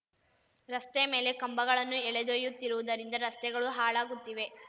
ರಸ್ತೆ ಮೇಲೆ ಕಂಬಗಳನ್ನು ಎಳೆದೊಯ್ಯುತ್ತಿರುವುದರಿಂದ ರಸ್ತೆಗಳು ಹಾಳಾಗುತ್ತಿವೆ